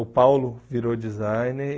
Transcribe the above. O Paulo virou designer.